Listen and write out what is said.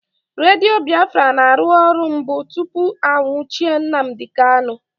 Redio Biafra na-arụ ọrụ mbụ tụpụ a nwuchie Nnamdi Kanu